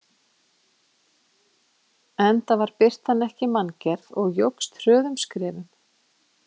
Enda var birtan ekki manngerð og jókst hröðum skrefum.